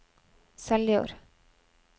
Seljord